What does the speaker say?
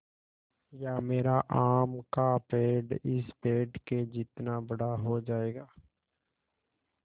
या मेरा आम का पेड़ इस पेड़ के जितना बड़ा हो जायेगा